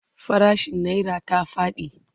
farashin naira ta faɗi